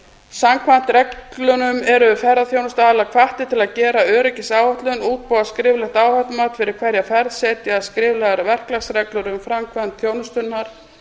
samkvæmt reglunum eru ferðaþjónustuaðilar hvattir til að gera öryggisáætlun útbúa skriflegt áhættumat fyrir hverja ferð setja skriflegar verklagsreglur um framkvæmd þjónustunnar